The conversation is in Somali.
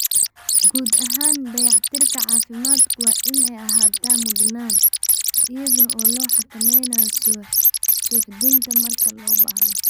Guud ahaan dayactirka caafimaadku waa in ay ahaataa mudnaan, iyada oo la xakameynayo suuxdinta marka loo baahdo.